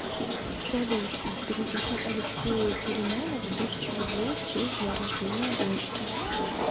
салют переведи алексею филимонову тысячу рублей в честь дня рождения дочки